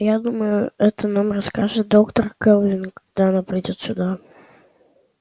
я думаю это нам расскажет доктор кэлвин когда она придёт сюда